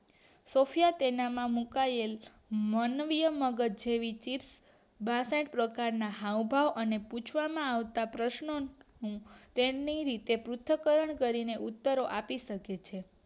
Sophia તેનામાં મુકાયેલ માનવીય મગજ જેવી થીફ બંને પ્રકારના ના હાવભાવ અને પૂછવામાં આવતા પ્રશ્નોના તેમની રીતે પુંથકરણ કરીને ઉત્તરો આપી શકે છે